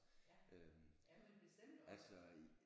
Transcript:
Ja ja men bestemt også